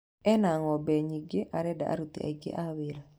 Ena ng'ombe nyingĩ arenda aruti aningĩ a wĩra.